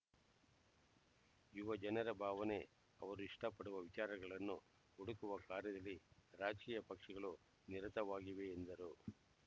ಯುವ ಜನರ ಭಾವನೆ ಅವರು ಇಷ್ಟಪಡುವ ವಿಚಾರಗಳನ್ನು ಹುಡುಕುವ ಕಾರ್ಯದಲ್ಲಿ ರಾಜಕೀಯ ಪಕ್ಷಗಳು ನಿರತವಾಗಿವೆ ಎಂದರು